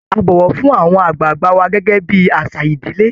A bọ̀wọ̀ fún àwọn àgbààgbà wa gẹ́gẹ́ bí àṣà ìdílé